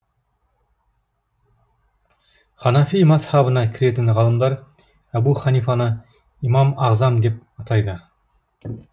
ханафи мазһабына кіретін ғалымдар әбу ханифаны имам ағзам деп атайды